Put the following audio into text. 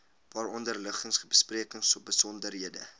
waaronder liggings besprekingsbesonderhede